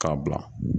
K'a bila